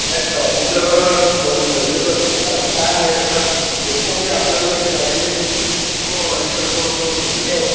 नाही नाही. ऑडिटर ठेवणं गरजेचं असते. कारण काय माहितीये का बेसिकली आपल्याला जे गाईडलाईन मिळते ती पण ऑडिटर कडूनच मिळते.